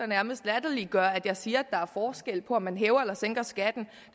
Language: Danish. nærmest latterliggør at jeg siger at der er forskel på om man hæver eller sænker skatten